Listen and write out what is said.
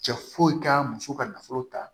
Cɛ foyi k'a muso ka nafolo ta